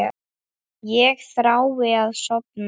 Ég þrái að sofna.